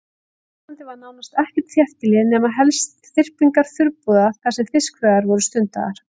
Á Íslandi var nánast ekkert þéttbýli nema helst þyrpingar þurrabúða þar sem fiskveiðar voru stundaðar.